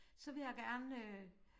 Så vil jeg gerne øh